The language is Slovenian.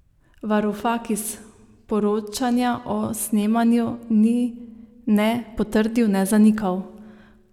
Varufakis poročanja o snemanju ni ne potrdil ne zanikal.